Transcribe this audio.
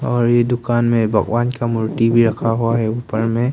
और ये दुकान में भगवान का मूर्ति भी रखा हुआ है ऊपर में।